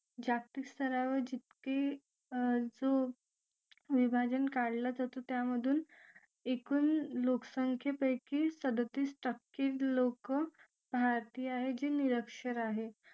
जागतिक स्तरावर जितकी जो विभाजन काढला जातो त्यामधून एकूण लोकसंख्येपैकी सदोउतीस टक्के लोकं भारतीय आहे जे निरक्षर आहे